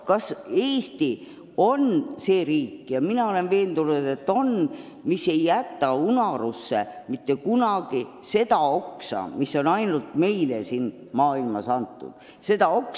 Kas Eesti on riik – ja mina olen veendunud, et on –, kes ei jäta mitte kunagi unarusse seda oksa, mis on ainult meile siin maailmas antud?